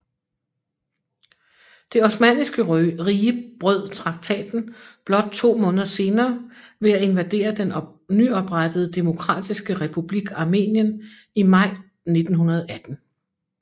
Det Osmanniske Rige brød traktaten blot to måneder senere ved at invadere den nyoprettede demokratiske republik Armenien i maj 1918